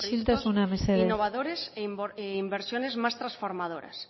proyectos innovadores e inversiones más transformadoras